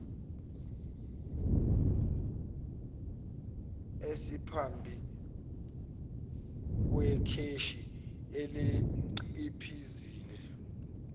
esephambi kwekheshi ayeliciphizile